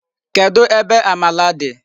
Kedụ ebe amala dị?